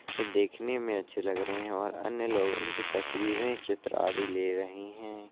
ये देखने में अच्छे लग रहे हैं और अन्य लोग इनकी तस्वीरें- चित्र आदि ले रहे हैं।